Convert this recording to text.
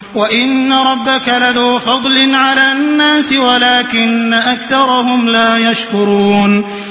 وَإِنَّ رَبَّكَ لَذُو فَضْلٍ عَلَى النَّاسِ وَلَٰكِنَّ أَكْثَرَهُمْ لَا يَشْكُرُونَ